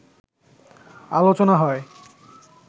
আলোচনা হয়